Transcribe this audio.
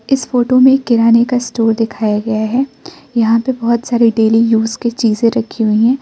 इस फोटो में किराने का स्टोर दिखाया गया है यहां पे बहोत सारी डेली यूज की चीजे रखी हुई हैं।